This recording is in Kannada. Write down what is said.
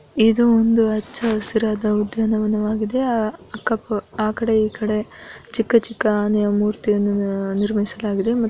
ಇದು ಒಂದು ಹಚ್ಚ ಹಸಿರಾದ ಉದ್ಯಾನವನವಾಗಿದೆ ಅಹ್ ಅಕ್ಕ ಪ‌ ಆಕಡೆ ಇಕಡೆ ಚಿಕ್ಕ ಚಿಕ್ಕ ಆನೆಯ ಮುರ್ತಿಯನ್ನ ನಿರ್ಮಿಸಲಾಗಿದೆ ಮ --